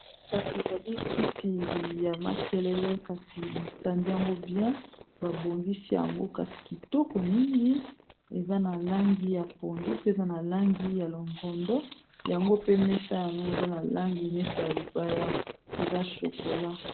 Kasi ezali kiti ya makelele kasi batandi yango bien ba bongisi yango kasi kitoko mingi eza na langi ya pondu pe eza na langi ya longondo yango pe mesa yango eza na langi neti ya libaya eza shokola.